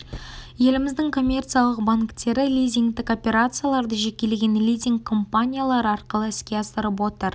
еліміздің коммерциялық банктері лизингтік операцияларды жекелеген лизинг компаниялары арқылы іске асырып отыр